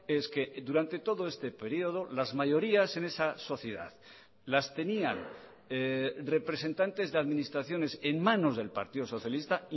es que durante todo este periodo las mayorías en esa sociedad las tenían representantes de administraciones en manos del partido socialista